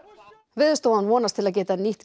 Veðurstofan vonast til að geta nýtt